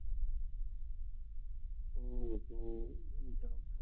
ਵੇਖ ਕੇ ਬਹਿ ਕੀ ਚੱਲਦਾ